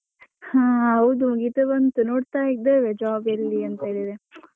ಹಾ ಹೌದು, ಮುಗಿತಾ ಬಂತು ನೋಡ್ತಾ ಇದ್ದೇವೆ job ಎಲ್ಲಿ ಎಂಥದಿದೆ .